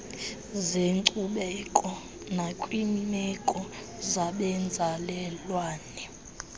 zenkcubeko nakwiimeko zabenzalelwane